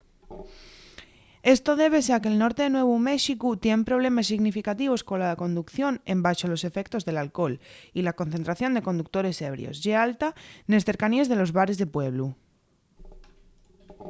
esto débese a que’l norte de nuevu méxicu tien problemes significativos cola conducción embaxo los efectos del alcohol y la concentración de conductores ebrios ye alta nes cercaníes de los bares de pueblu